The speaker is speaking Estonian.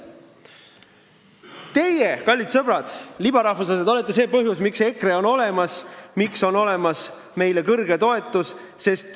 Teie, kallid sõbrad, libarahvuslased, olete see põhjus, miks EKRE on olemas ja miks on meie toetus kõrge.